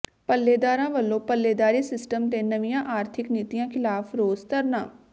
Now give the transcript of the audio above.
ਪੱਲੇਦਾਰਾਂ ਵੱਲੋਂ ਪੱਲੇਦਾਰੀ ਸਿਸਟਮ ਤੇ ਨਵੀਆਂ ਆਰਥਿਕ ਨੀਤੀਆਂ ਿਖ਼ਲਾਫ਼ ਰੋਸ ਧਰਨਾ